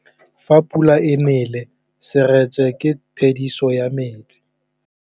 Fa pula e nelê serêtsê ke phêdisô ya metsi.